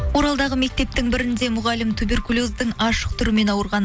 оралдағы мектептің бірінде мұғалім туберкулездің ашық түрімен ауырған